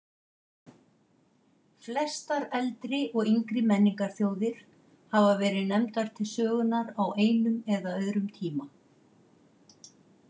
Flestar eldri og yngri menningarþjóðir hafa verið nefndar til sögunnar á einum eða öðrum tíma.